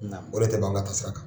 O de tɛ b'an ka taa sira kan.